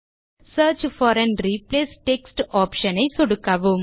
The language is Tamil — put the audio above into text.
search for and replace text option ஐ சொடுக்கவும்